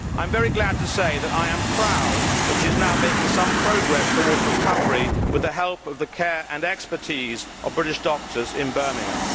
I am very glad to say that I am proud that she is now making some progress towards recovery with the help of the care and expertise of British doctors in Birmingham.